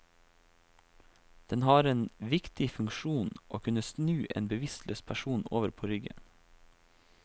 Den har en viktig funksjon, å kunne snu en bevisstløs person over på ryggen.